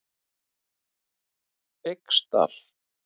Feigsdal